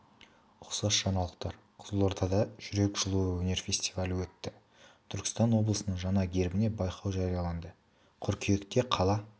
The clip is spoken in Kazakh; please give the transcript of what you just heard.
ұқсас жаңалықтар қызылордада жүрек жылуы өнер фестивалі өтті түркістан облысының жаңа гербіне байқау жарияланды қыркүйекте қала